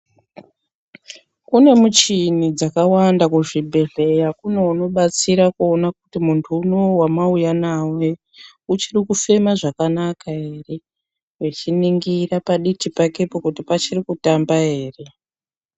Kune michini dzakawanda kuzvibhedhlera kune anodatsira kuona kuti muntu uno uyu wamauya naye uchiri kufema zvakanaka here, uchiningira paditi pakepo kuti pachiri kutamba here.